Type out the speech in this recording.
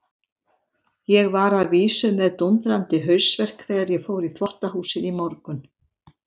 Ég var að vísu með dúndrandi hausverk þegar ég fór í þvottahúsið í morgun.